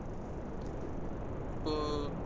இப்போ